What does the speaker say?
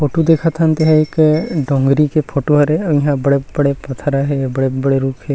Photo देखत हन ते ह एक डोंगरी के फोटो हरे अउ इहा बड़े-बड़े पथरा हे बड़े-बड़े रूख हे।